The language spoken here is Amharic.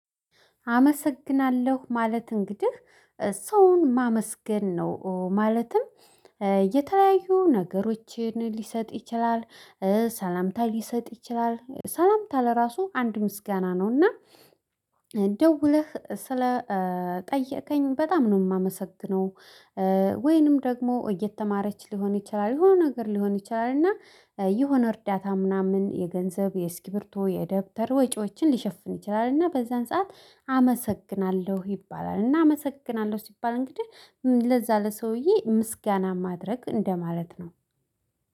አመሰግናለሁ ማለት እንግዲህ ሰውን ማመስገን ነው ማለትም የተለያዩ ነገሮችን ሊሰጥ ይችላል። ሰላምታ ሊሰጥ ይችላል ሰላምታ ለራሱ አንድ ምስጋና ነው እና ደውለህ ስለ ጠየከኝ በጣም ነው እማመሰግነው። ወይንም ደግሞ እየተማረች ሊሆን ይችላል የሆነ ነገር ሊሆን ይችላል። እና የሆነ እርዳታ ምናምን የገንዘብ የእስኪሪብቶ የደብተር ወጪዎችን ሊሸፍን ይችላል። እና በዛን ሰዓት አመሰግናለሁ ይባላል እና አመሰግናለሁ ሲባል እንግዲህ ለዛ ለሰውዬ ምስጋና ማድረግ እንደማለት ነው።